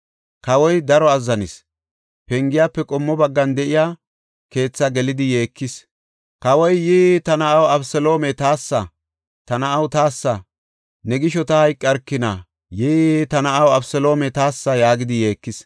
Kawoy daro azzanis; pengiyafe qommo baggan de7iya keethaa gelidi yeekis. Kawoy, “Yii, ta na7aw Abeseloome taassa! Ta na7aw taassa! Ne gisho ta hayqarkina! Yii, ta na7aw Abeseloome taassa!” yaagidi yeekis.